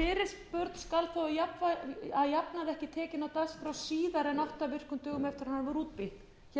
fyrirspurn skal þó að jafnaði ekki tekin á dagskrá síðar en átta virkum dögum eftir að henni var útbýtt hér erum við að tala um